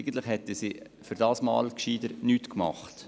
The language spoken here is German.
Die Verwaltung hätte dieses Mal lieber nichts gemacht.